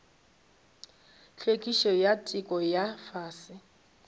hlwekišo ya theko ya fase